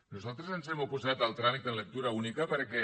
nosaltres ens hem oposat al tràmit de lectura única perquè